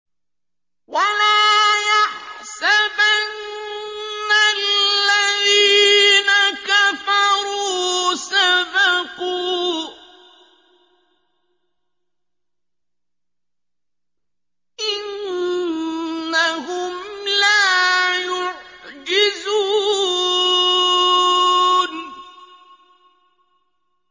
وَلَا يَحْسَبَنَّ الَّذِينَ كَفَرُوا سَبَقُوا ۚ إِنَّهُمْ لَا يُعْجِزُونَ